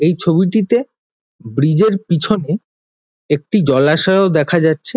এই ছবিটিতে ব্রীজ -এর পিছনে একটি জলাশয়ও দেখা যাচ্ছে।